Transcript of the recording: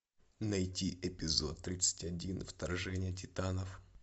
найти эпизод тридцать один вторжение титанов